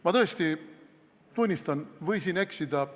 Ma tõesti tunnistan, et võisin eksida.